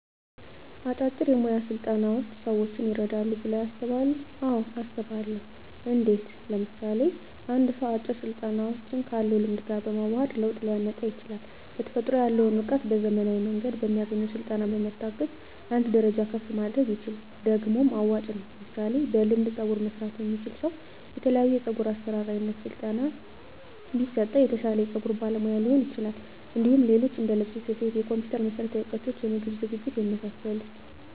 አጫጭር የሞያ ስልጠናዎች ሰዎችን ይረዳሉ ብለው ያስባሉ አዎ አስባለሁ እንዴት ምሳሌ አንድ ሰው አጭር ስልጠናዎችን ካለው ልምድ ጋር በማዋሀድ ለውጥ ሊያመጣ ይችላል በተፈጥሮ ያለውን እውቀት በዘመናዊ መንገድ በሚያገኘው ስልጠና በመታገዝ አንድ ደረጃ ከፍ ማድረግ ይችላል ደግሞም አዋጭ ነው ምሳሌ በልምድ ፀጉር መስራት የሚችል ሰው የተለያዮ የፀጉር አሰራር አይነት በስለጠና ቢሰጠው የተሻለ የፀጉር ባለሙያ ሊሆን ይችላል እንዲሁም ሌሎች እንደልብስ ስፌት የኮምፒተር መሠረታዊ እውቀቶች የምግብ ዝግጅት የመሳሰሉት